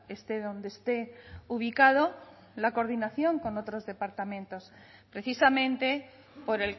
esté donde esté ubicado la coordinación con otros departamentos precisamente por